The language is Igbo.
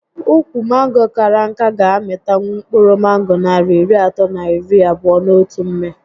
Ukwu mango kara nká ga -amịtanwu mkpụrụ mango narị iri atọ na iri abụo n'otu mmị